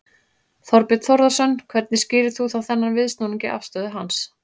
Þorbjörn Þórðarson: Hvernig skýrir þú þá þennan viðsnúning í afstöðu hans?